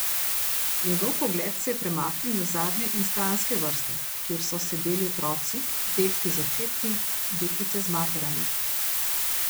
Njegov pogled se je premaknil na zadnje in stranske vrste, kjer so sedeli otroci, dečki z očeti, deklice z materami.